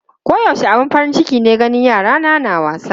Koyaushe abin farin ciki ne ganin yarana na wasa.